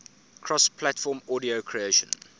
cross platform audio creation